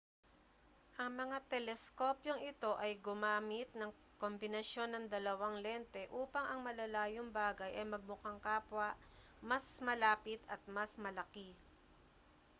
ang mga teleskopyong ito ay gumamit ng kombinasyon ng dalawang lente upang ang malalayong bagay ay magmukhang kapwa mas malapit at mas malaki